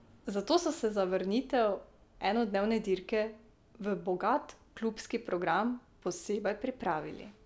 Zato so se za vrnitev enodnevne dirke v bogat klubski program posebej pripravili.